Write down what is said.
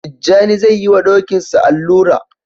Tijjani zai yi wa Dokinsa allura